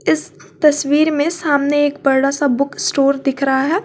इस तस्वीर में सामने एक बड़ा सा बुक स्टोर दिख रहा है।